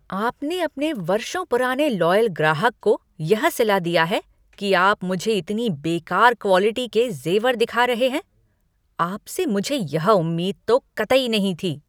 आपने अपने वर्षों पुराने लॉयल ग्राहक को यह सिला दिया है कि आप मुझे इतनी बेकार क्वॉलिटी के जेवर दिखा रहे हैं। आपसे मुझे यह उम्मीद तो कतई नहीं थी।